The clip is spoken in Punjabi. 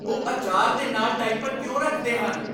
ਉਹ ਅਚਾਰ ਦੇ ਨਾਲ ਡਾਇਪਰ ਕਿਉਂ ਰੱਖਦੇ ਹਨ?